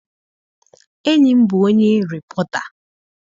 Enyi m bụ onye rịpọta.